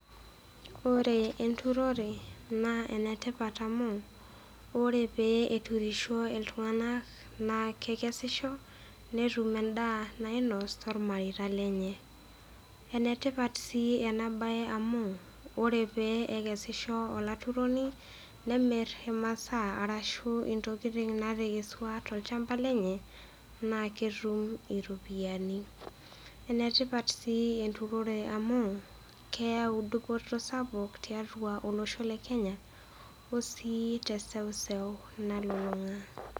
Ore enturore naa enetipat amu ore pee eturisho iltung'ana naa kekesisho netum endaa nainos tolmareita lenye. Enetipat sii ena bae amu ore pee ekesisho olaturoni, nemir imasaa arashu intokitin natekesua tolchamba lenye, naa ketum iropiani. Enetipat sii enturore amu keyau dupoto sapuk tiatua olosho le Kenya osii teseuseu nalulung'a.